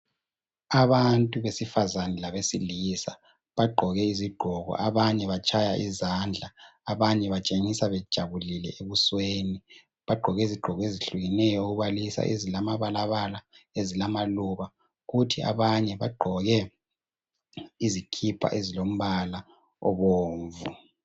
Abantu besifazana labesilisa. Bagqoke izigqoko. Abanye batshaya mizandla. Abanye batshengisa bejabulile ebusweni. Bagqoke izigqoko ezehlukeneyo, okubalisa ezilamabalabala, ezilamaluba. Kuthi abanye bagqoke izikipa ezilombala. obomvu.